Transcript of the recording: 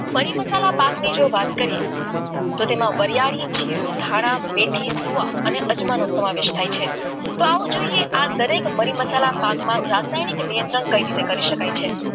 મસાલા જો પાકની વાત કરીએ તો તેમાં વરીયાળી જીરુ ધાણા મેથી શું અને અજમાનો સમાવેશ થાય છે તો આવું જોઈએ દરેક મરી મસાલા પાક માં રાસાયણિક નિયંત્રણ કઈ રીતે કરી શકાય છે